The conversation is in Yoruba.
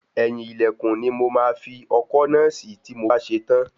Eyin ilẹkun ni mo máa fi ọkọ́ náà sí tí mo bá ṣe tán.